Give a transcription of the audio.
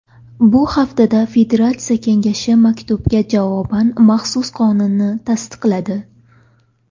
Bu haftada Federatsiya kengashi maktubga javoban maxsus qonunni tasdiqladi.